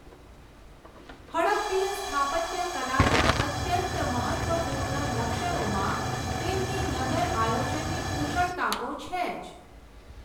હડપ્પીય સ્થાપત્ય કલાના અત્યંત મહત્ત્વપૂર્ણ લક્ષણોમાં તેમની નગરઆયોજનની કુશળતા તો છે જ.